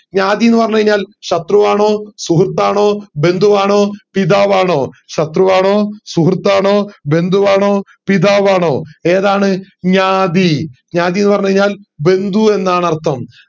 ജ്ഞ്യാതി ന്ന് പറഞ്ഞു കൈഞ്ഞാൽ ശത്രു ആണോ സുഹൃത് ആണോ ബന്ധു ആണോ പിതാവാണോ ശത്രു ആണോ സുഹൃത് ആണോ ബന്ധു ആണോ പിതാവാണോ ഏതാണ് ജ്ഞ്യാതി ജ്ഞ്യാതിന്ന് പറഞ്ഞു കൈഞ്ഞാൽ ബന്ധു എന്നാണർത്ഥം